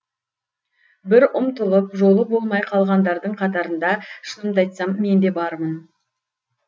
бір ұмтылып жолы болмай қалғандардың қатарында шынымды айтсам мен де бармын